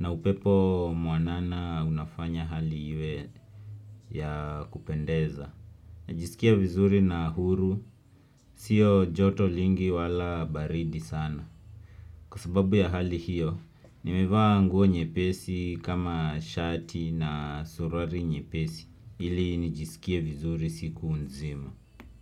Na upepo mwanana unafanya hali iwe ya kupendeza. Najisikia vizuri na huru. Sio joto lingi wala baridi sana. Kwa sababu ya hali hiyo, nimevaa nguo nyepesi kama shati na surari nyepesi. Ili nijisikie vizuri siku nzima.